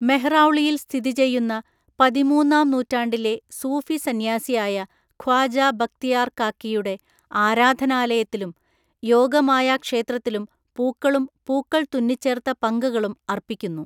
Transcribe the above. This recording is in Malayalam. മെഹ്റൗളിയിൽ സ്ഥിതിചെയ്യുന്ന പതിമൂന്നാം നൂറ്റാണ്ടിലെ സൂഫിസന്യാസിയായ ഖ്വാജാ ബക്തിയാർ കാക്കിയുടെ ആരാധനാലയത്തിലും യോഗമായാക്ഷേത്രത്തിലും പൂക്കളും പൂക്കൾ തുന്നിച്ചേർത്ത പങ്കകളും അർപ്പിക്കുന്നു.